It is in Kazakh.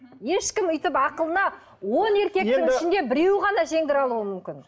ешкім өйтіп ақылына он еркектің ішінде біреуі ғана жеңдіре алуы мүмкін